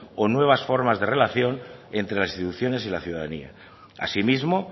con nuevas formas de relación entre las instituciones y la ciudadanía asimismo